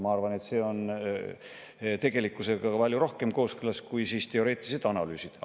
Ma arvan, et see oleks tegelikkusega palju rohkem kooskõlas kui teoreetilised analüüsid.